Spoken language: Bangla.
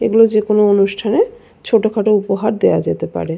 এগুলো যেকোনো অনুষ্ঠানে ছোট খাটো উপহার দেওয়া যেতে পারে।